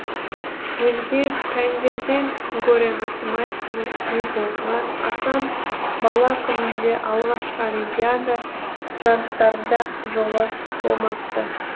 өзге пәндерден гөрі математиканы сүйіп оқыған асан бала күнінде алғашқы олимпиада жарыстарында жолы болмапты